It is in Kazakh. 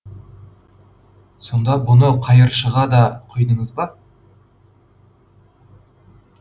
сонда бұны қайыршыға да құйдыңыз ба